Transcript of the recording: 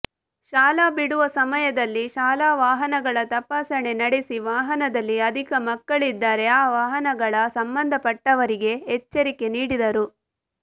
ಶಾಲಾ ಬಿಡುವ ಸಮಯದಲ್ಲಿ ಶಾಲಾ ವಾಹನಗಳ ತಪಾಸಣೆ ನಡೆಸಿ ವಾಹನದಲ್ಲಿ ಅಧಿಕ ಮಕ್ಕಳಿದ್ದರೇ ಆ ವಾಹನಗಳ ಸಂಬಂದಪಟ್ಟವರಿಗೆ ಎಚ್ಚರಿಕೆ ನೀಡಿದರು